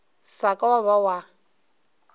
sa ka wa ba wa